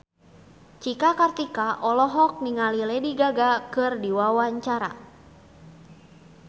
Cika Kartika olohok ningali Lady Gaga keur diwawancara